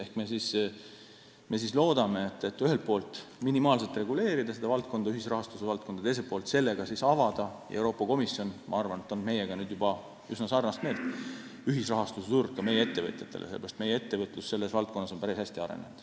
Ehk siis me loodame ühelt poolt minimaalselt reguleerida ühisrahastuse valdkonda ja teiselt poolt – ma arvan, et Euroopa Komisjon on meiega nüüd juba üsna sarnast meelt – avada ühisrahastuse turu ka meie ettevõtjatele, sest meie ettevõtlus on selles valdkonnas päris hästi arenenud.